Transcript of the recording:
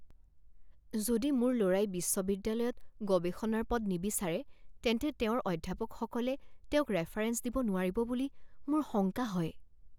যদি মোৰ লৰাই বিশ্ববিদ্যালয়ত গৱেষণাৰ পদ নিবিচাৰে তেন্তে তেওঁৰ অধ্যাপকসকলে তেওঁক ৰেফাৰেন্স দিব নোৱাৰিব বুলি মোৰ শংকা হয়।